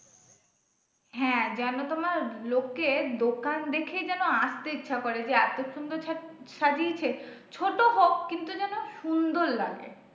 হ্যাঁ যেন তোমার লোকে দোকান দেখে যেন আসতে ইচ্ছে করে যে এত সুন্দর সাজিয়েছে ছোট হোক কিন্তু যেন সুন্দর লাগে।